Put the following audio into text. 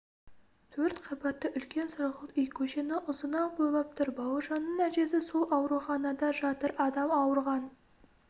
төрт қабатты үлкен сұрғылт үй көшені ұзына бойлап тұр бауыржанның әжесі сол ауруханада жатыр адам ауырған